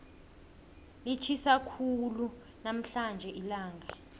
litjhisa khulu namhlanje ilanga